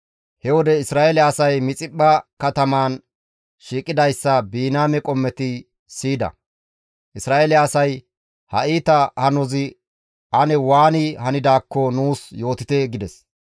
He wode Isra7eele asay Mixiphpha katamaan shiiqidayssa Biniyaame qommoti siyida. Isra7eele asay, «Ha iita hanozi ane waani hanidaakko nuus yootite» gides.